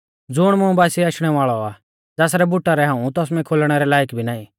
ज़ुण मुं बासिऐ आशणै वाल़ौ आ ज़ासरै बुटा रै हाऊं तसमै खोलणै रै लाईक भी नाईं